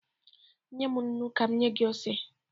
Nye m nnu ka m nye gị ose